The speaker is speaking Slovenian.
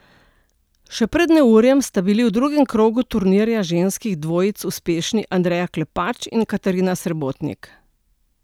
Še pred neurjem sta bili v drugem krogu turnirja ženskih dvojic uspešni Andreja Klepač in Katarina Srebotnik.